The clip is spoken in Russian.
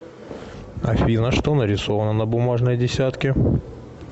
афина что нарисовано на бумажной десятке